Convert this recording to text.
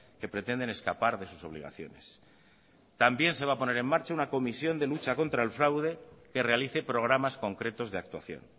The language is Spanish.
que pretenden escapar de sus obligaciones también se va a poner en marcha una comisión de lucha contra el fraude que realice programas concretos de actuación